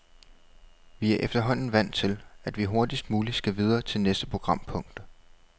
Vi er efterhånden vant til, at vi hurtigst muligt skal videre til næste programpunkt.